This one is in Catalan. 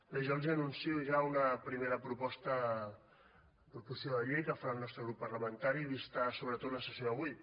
bé jo els anuncio ja una primera proposició de llei que farà el nostre grup parlamentari vista sobretot la sessió d’avui